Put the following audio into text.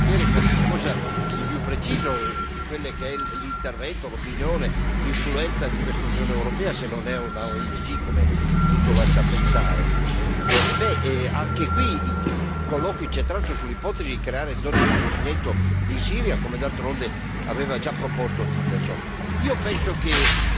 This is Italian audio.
Noi vogliamo sapere qualcosa di più preciso su quello che è l'intervento, l'opinione, l'influenza di questa Unione europea, se non è una ONG, come tutto lascia pensare. Anche qui i colloqui, tra l'altro sull'ipotesi di creare zone di cuscinetto in Siria, come d'altronde aveva già proposto Tillerson.